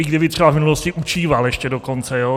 I kdyby třeba v minulosti učíval ještě dokonce.